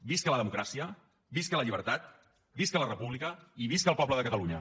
visca la democràcia visca la llibertat visca la república i visca el poble de catalunya